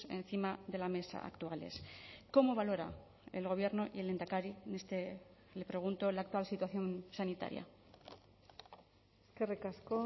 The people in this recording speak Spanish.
encima de la mesa actuales cómo valora el gobierno y el lehendakari le pregunto la actual situación sanitaria eskerrik asko